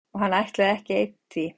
Og hann ætlaði ekki einn því